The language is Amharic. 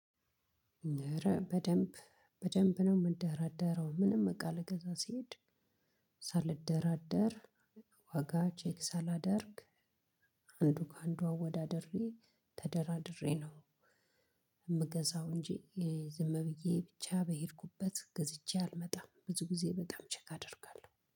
እረ በደንብ በደንብ ነው የምደራደረው ምንም እቃ ልገዛ ስሄድ ሳልደራደር ዋጋ ቼክ ሳላደርግ አንዱ ከአንዷ ወዳደሬ ተደራድሬ ነው የምገዛው እንጂ ዝም ብዬ ብቻ በሄድኩበት ገዝቼ አልመጣም። ብዙ ጊዜ በጣም ቼክ አደርጋለሁ